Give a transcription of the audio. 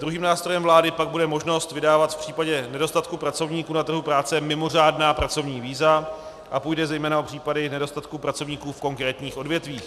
Druhým nástrojem vlády pak bude možnost vydávat v případě nedostatku pracovníků na trhu práce mimořádná pracovní víza a půjde zejména o případy nedostatku pracovníků v konkrétních odvětvích.